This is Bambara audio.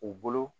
U bolo